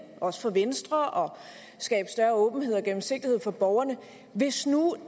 også for venstre og skabe større åbenhed og gennemsigtighed for borgerne hvis nu